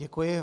Děkuji.